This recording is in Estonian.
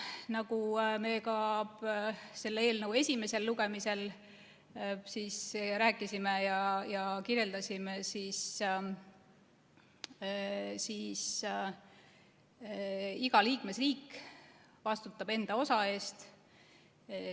Nagu me ka selle eelnõu esimesel lugemisel rääkisime ja kirjeldasime, vastutab iga liikmesriik enda osa eest.